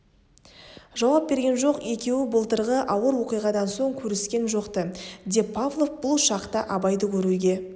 жауап берген жоқ екеуі былтырғы ауыр оқиғадан соң көріскен жоқ-ты деп павлов бұл шақта абайды көруге